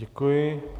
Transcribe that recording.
Děkuji.